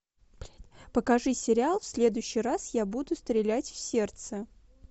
покажи сериал в следующий раз я буду стрелять в сердце